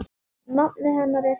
Nafnið hennar er tært.